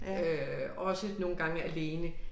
Øh også nogle gange alene